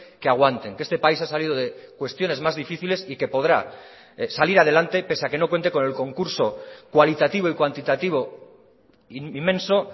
que aguanten que este país ha salido de cuestiones más difíciles y que podrá salir adelante pese a que no cuente con el concurso cualitativo y cuantitativo inmenso